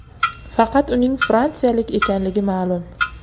Faqat uning fransiyalik ekanligi ma’lum.